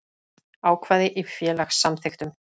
Ákvæði í félagssamþykktum.